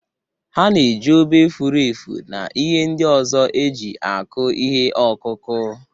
Ha na-eji obe, furu efu, na ihe ndị ọzọ eji akụ ihe ọkụkụ.